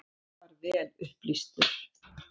Afar vel upplýstur.